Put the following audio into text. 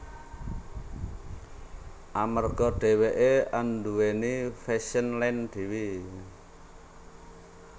Amarga dheweké anduwèni fashion line dhewe